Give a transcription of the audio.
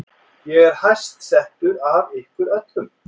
Ég er hæst settur af ykkur öllum!